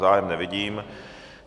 Zájem nevidím.